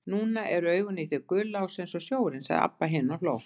Núna eru augun í þér gul, Lási, eins og sjórinn, sagði Abba hin og hló.